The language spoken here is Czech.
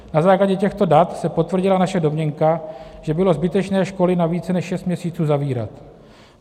Na základě těchto dat se potvrdila naše domněnka, že bylo zbytečné školy na více než šest měsíců zavírat.